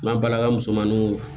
N'an balalaka musomaninw